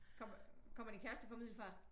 Kommer din kæreste fra Middelfart?